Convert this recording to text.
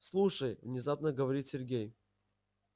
слушай внезапно говорит сергей